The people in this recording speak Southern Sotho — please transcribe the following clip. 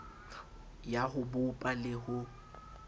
ya ho bopa le ho